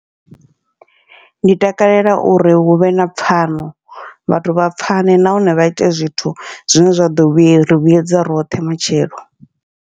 Ndi takalela uri huvhe na pfhano vhathu vha pfhane, nahone vha ite zwithu zwine zwa ḓo vhuya zwa ḓori vhuyedza roṱhe matshelo.